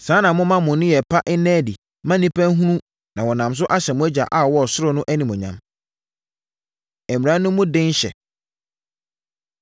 Saa ara na momma mo nneyɛeɛ pa nna adi mma nnipa nhunu na wɔnam so ahyɛ mo Agya a ɔwɔ ɔsoro no animuonyam. Mmara No Mu Den Hyɛ